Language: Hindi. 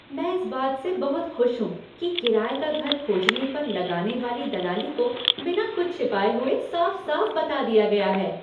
मैं इस बात से बहुत खुश हूँ कि किराये का घर खोजने पर लगाने वाली दलाली को बिना कुछ छिपाए हुए साफ साफ बता दिया गया है।